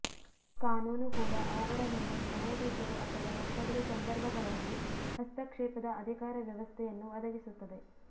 ಕಾನೂನು ಕೂಡ ಅವುಗಳ ಮೇಲೆ ನ್ಯಾಯಾಧೀಶರು ಅಥವಾ ಒತ್ತಡದ ಸಂದರ್ಭಗಳಲ್ಲಿ ಹಸ್ತಕ್ಷೇಪದ ಅಧಿಕಾರ ವ್ಯವಸ್ಥೆಯನ್ನು ಒದಗಿಸುತ್ತದೆ